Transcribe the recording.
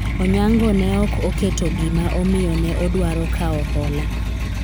Onyango ne ok oketo gima omiyo ne odwaro kawo hola